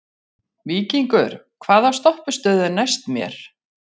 Víkingur, hvaða stoppistöð er næst mér?